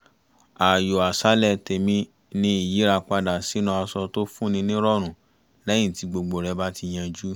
ààyò àṣálẹ tèmi ni ìyíra padà sínú aṣọ tó fún ni ní ìrọ̀rùn lẹ́yìn tí gbogbo rẹ bá ti yanjú